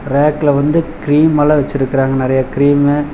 ரேக்ல வந்து கிரீம்மல்லா வெச்சுருக்காங்க. நறைய கிரீம்மு .